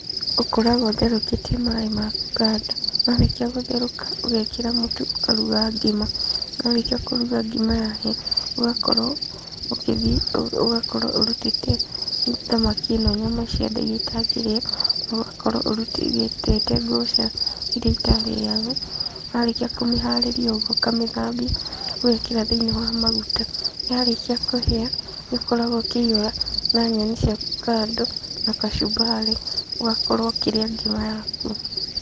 Ũkoragwo ũtherũkĩtie maĩ maku kando na marĩkia kũtheroka ũgekĩra mũtu waku ũkaruga ngima, warĩkia kũruga ngima yahĩa ũgakorwo ũkĩthi ũgakorwo ũrutĩte thamaki ĩno nyama cia nda iria itangĩrĩo ikĩrĩo ,ũgakorwo ũrutĩte irĩa itarĩagwo warĩkia kũmĩharĩria nĩugũ ũkamĩthambia, ũgekĩra thĩini wa maguta, yarĩkia kũhĩa ,ũkoragwo ũkĩihura na nyeni ciaku kando na kachumbari na ũgakorwo ũkĩrĩa ngima yaku.